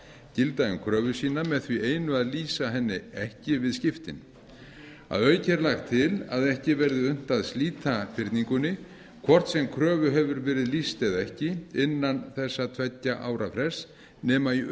gilda um kröfu sína með því einu að lýsa henni ekki við skiptin að auki er lagt til að ekki verði unnt að slíta fyrningunni hvort sem kröfu hefur verið lýst eða ekki innan þessa tveggja ára frests nema í